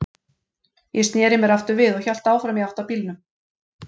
Ég sneri mér aftur við og hélt áfram í átt að bílnum.